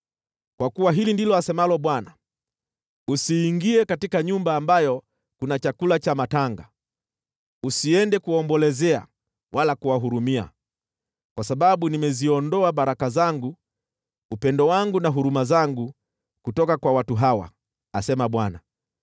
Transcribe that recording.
Kwa kuwa hili ndilo asemalo Bwana : “Usiingie katika nyumba ambayo kuna chakula cha matanga, usiende kuwaombolezea wala kuwahurumia, kwa sababu nimeziondoa baraka zangu, upendo wangu na huruma zangu kutoka kwa watu hawa,” asema Bwana .